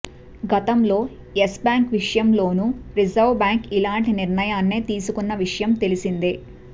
గతంలో Yes Bank విషయంలోనూ Reserve Bank ఇలాంటి నిర్ణయాన్నే తీసుకున్న విషయం తెలిసిందే